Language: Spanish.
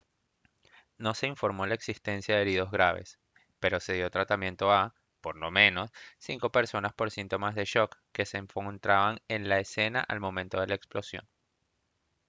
no se informó la existencia de heridos graves pero se dio tratamiento a por lo menos cinco personas por síntomas de shock que se encontraba en la escena al momento de la explosión